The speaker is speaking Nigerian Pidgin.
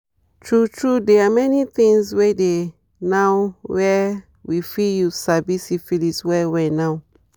true true they are many things were dey now were we fit use sabi syphilis well well now